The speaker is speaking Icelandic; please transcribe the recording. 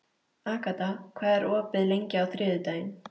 Agata, hvað er opið lengi á þriðjudaginn?